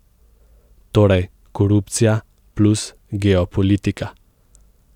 Torej korupcija plus geopolitika.